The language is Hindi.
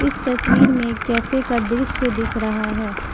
इस तस्वीर में कैफे का दृश्य दिख रहा है।